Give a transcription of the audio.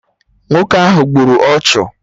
Nwoke ahụ gburu ọchụ